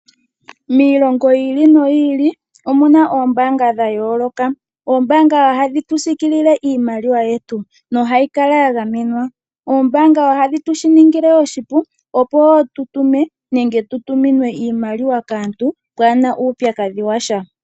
Miilongo yi ili noyi ili omuna oombaanga dhayooloka. Oombaanga ohadhi tusikilile iimaliwa yetu nohayi kala yagamenwa. Oombaanga ohadhi tushininingile oshipu opo wo tu tume nenge tu tuminwe iimaliwa kaantu pwaana uupyakadhi washa.